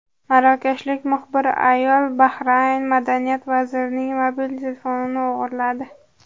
Marokashlik muxbir ayol Bahrayn Madaniyat vazirining mobil telefonini o‘g‘irladi.